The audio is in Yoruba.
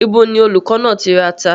Ibo ni olùkọ́ náà ti ra ata?